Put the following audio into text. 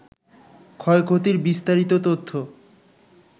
ক্ষয়ক্ষতির বিস্তারিত তথ্য